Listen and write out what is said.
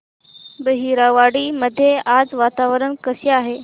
बहिरवाडी मध्ये आज वातावरण कसे आहे